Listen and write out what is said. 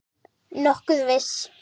Nokkuð viss.